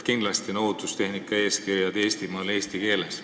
Kindlasti on ohutustehnika eeskirjad Eestimaal eesti keeles.